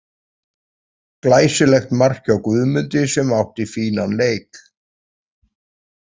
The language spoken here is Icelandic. Glæsilegt mark hjá Guðmundi sem átti fínan leik.